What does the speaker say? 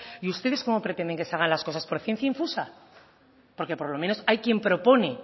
y ustedes cómo pretenden que se hagan las cosas por ciencia infusa porque por lo menos hay quien propone